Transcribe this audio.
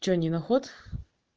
что не наход